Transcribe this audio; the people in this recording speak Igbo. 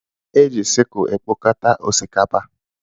E ji sickle ekpokọta osikapa.